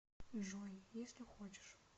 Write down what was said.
джой если хочешь